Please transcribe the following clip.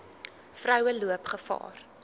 vroue loop gevaar